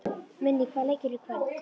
Minný, hvaða leikir eru í kvöld?